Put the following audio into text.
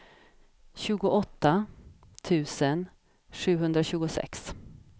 tjugoåtta tusen sjuhundratjugosex